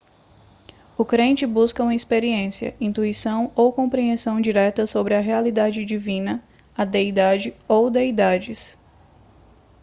o crente busca uma experiência intuição ou compreensão direta sobre a realidade divina/a deidade ou deidades